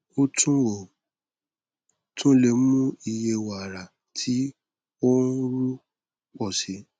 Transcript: o tun o tun le mu iye wara ti o nru pọ si